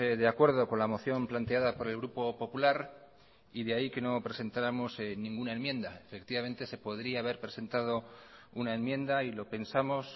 de acuerdo con la moción planteada por el grupo popular y de ahí que no presentáramos ninguna enmienda efectivamente se podría haber presentado una enmienda y lo pensamos